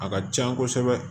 A ka can kosɛbɛ